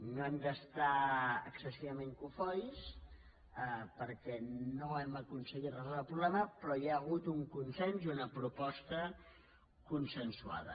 no hem d’estar excessivament cofois perquè no hem aconseguit resoldre el problema però hi ha hagut un consens i una proposta consensuada